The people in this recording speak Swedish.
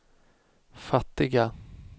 fattiga